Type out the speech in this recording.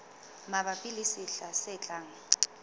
mabapi le sehla se tlang